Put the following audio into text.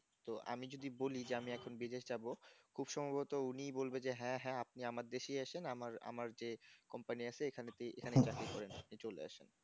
তো আমি যদি বলি যে আমি এখন বিদেশ যাব খুব সম্ভবত উনি বলবে যে হ্যাঁ হ্যাঁ আপনি আমার দেশেই এসন আমার আমার যে company আছে এখানে এখানে তেই চাকরি করেন চলে আসবেন